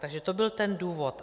Takže to byl ten důvod.